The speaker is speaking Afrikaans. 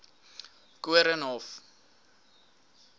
koornhof